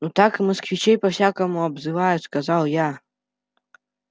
ну так и москвичей по-всякому обзывают сказал я